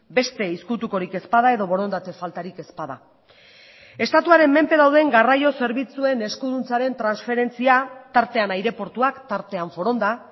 beste ezkutukorik ez bada edo borondate faltarik ez bada estatuaren menpe dauden garraio zerbitzuen eskuduntzaren transferentzia tartean aireportuak tartean foronda